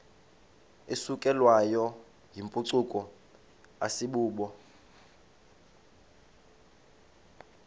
isukelwayo yimpucuko asibubo